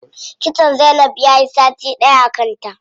Kitson zainab yayi sati ɗaya a kanta.